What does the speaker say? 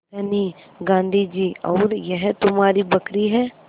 धनी गाँधी जी और यह तुम्हारी बकरी है